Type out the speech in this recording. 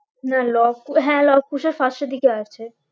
না লব হ্যাঁ লব কুশের first এর দিকে আছে